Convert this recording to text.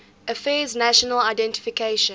affairs national identification